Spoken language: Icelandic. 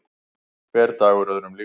Hver dagur öðrum líkur.